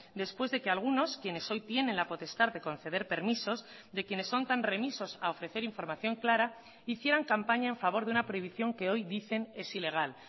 después de que algunos quienes hoy tienen la potestad de conceder permisos de quienes son tan remisos a ofrecer información clara hicieran campaña en favor de una prohibición que hoy dicen es ilegal